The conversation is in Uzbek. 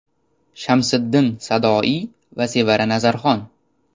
Shamsiddin Sadoiy va Sevara Nazarxon.